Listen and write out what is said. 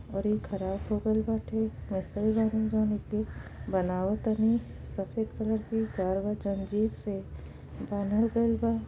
और इ खराब होगईल बाटे बइठल बानी जान एके बनाव तानी सफेद कलर के तार व जंजीर से बानल गइल बा और इ ख़राब हो गइल बाटे |